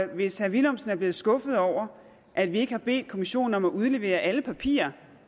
hvis herre villumsen er blevet skuffet over at vi ikke har bedt kommissionen om at udlevere alle papirer